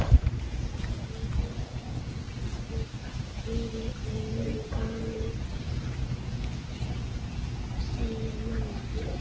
Hreiður fyrir ungana, segir mamma.